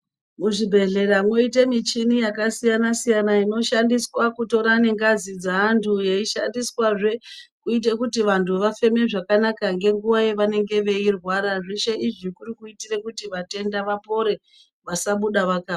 Muzvibhedhlera mwoite michini yakasiyana siyana inoshandiswa kutora nengazi dzeanthu yeishandiswazve kuite kuti vanthu vafeme zvakanaka ngenguwa yavanenge veirwara zveshe izvi kuri kuitira kuti vatenda vapore vasabuda vaka....